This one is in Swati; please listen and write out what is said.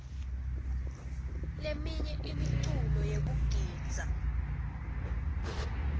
leminye imiculo yekugidza